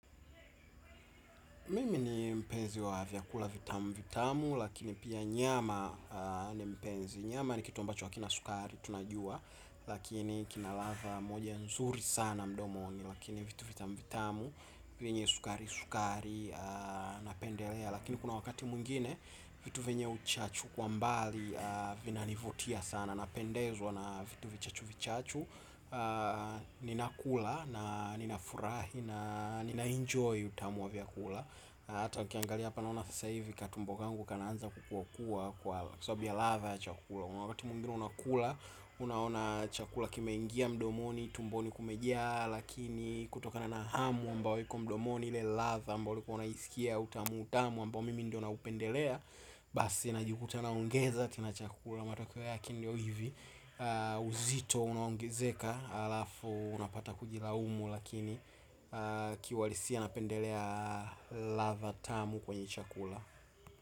Mimi ni mpenzi wa vyakula vitamu vitamu, lakini pia nyama ni mpenzi. Nyama ni kitu ambacho hakina sukari, tunajua, lakini kinalatha moja nzuri sana mdomo wangu, lakini vitu vitamu-vitamu, vyenye sukari-sukari, napendelea, lakini kuna wakati mwingine, vitu venye uchachu kwa mbali, vina nivutia sana, napendezwa na vitu vichachu-vichachu, ninakula, ninafurahi, ninaenjoy utamu wa vyakula. Hata ukiangalia hapa naona aasa hivi katumbo kangu kanaanza kukuwa kuwa kwa sababu ya latha ya chakula kuna wakati mwingine unakula, unaona chakula kime ingia mdomoni, tumboni kumejia. Lakini kutokana na hamu ambayo iko mdomoni ile latha ambao ulikuwa unaisikia utamutamu ambao mimi ndio naupendelea. Basi najikuta naongeza tena chakula, matokeo yake ndio hivi. Uzito unaongezeka. Alafu unapata kujilaumu. Lakini kiuhalisia napendelea ladha tamu kwenye chakula.